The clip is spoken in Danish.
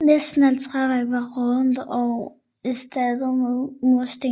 Næsten alt træværk var rådnet og erstattet med mursten